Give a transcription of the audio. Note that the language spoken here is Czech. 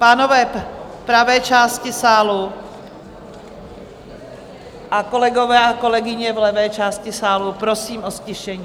Pánové v pravé části sálu a kolegyně a kolegové v levé části sálu, prosím o ztišení.